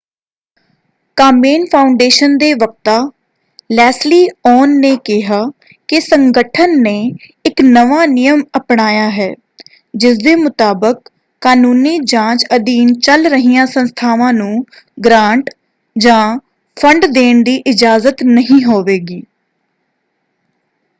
ਕਾਮੇਨ Foundation ਦੇ ਵਕਤਾ Leslie Aun ਨੇ ਕਿਹਾ ਕਿ ਸੰਗਠਨ ਨੇ ਇੱਕ ਨਵਾਂ ਨਿਯਮ ਅਪਣਾਇਆ ਹੈ ਜਿਸਦੇ ਮੁਤਾਬਕ ਕਾਨੂੰਨੀ ਜਾਂਚ ਅਧੀਨ ਚੱਲ ਰਹੀਆਂ ਸੰਸਥਾਵਾਂ ਨੂੰ ਗ੍ਰਾਂਟ ਜਾਂ ਫੰਡ ਦੇਣ ਦੀ ਇਜਾਜ਼ਤ ਨਹੀਂ ਹੋਵੇਗੀ।